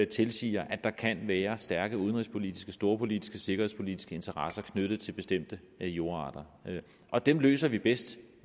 tilsiger at der kan være stærke udenrigspolitiske storpolitiske sikkerhedspolitiske interesser knyttet til bestemte jordarter og dem løser vi bedst